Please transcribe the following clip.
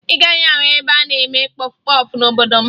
Ị gaghị ahụ ebe a na-eme kpọfụ kpọfụ n'obodo m